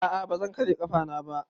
A a ba zan karya ƙafana ba.